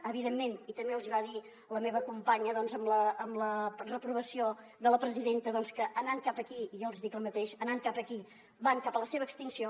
evidentment i també els hi va dir la meva companya amb la reprovació de la presidenta doncs que anant cap aquí i jo els hi dic el mateix van cap a la seva extinció